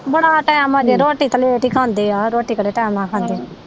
ਬੜਾ ਟਾਇਮ ਹਜੇ ਰੋਟੀ ਤਾ ਲੈਟ ਈ ਖਾਂਦੇ ਆ ਰੋਟੀ ਕਿਹੜਾ ਟਾਇਮ ਨਾਲ ਖਾਂਦੇ।